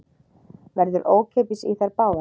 Verður ókeypis í þær báðar